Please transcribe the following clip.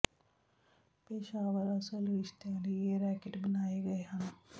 ਪੇਸ਼ਾਵਰ ਅਸਲ ਰਿਸਤਿਆਂ ਲਈ ਇਹ ਰੈਕੇਟ ਬਣਾਏ ਗਏ ਹਨ